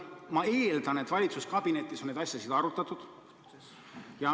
Ma eeldan, et valitsuskabinetis on neid asju arutatud.